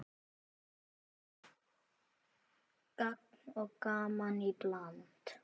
Gagn og gaman í bland.